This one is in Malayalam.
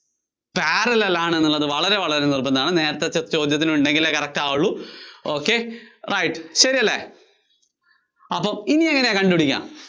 parallel ആണെന്നുള്ളത് വളരെ വളരെ നിര്‍ബന്ധമാണ്. നേരത്തത്തെ ചോദ്യത്തില്‍ ഉണ്ടെങ്കിലേ correct ആവുള്ളു. ok right. ശെരിയല്ലേ? അപ്പോ ഇനി എങ്ങിനെയാ കണ്ടുപിടിക്കുക?